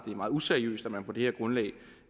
useriøst at man på det her grundlag